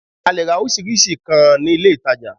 A leè ra orísirísi nkàn ní ilé ìtajà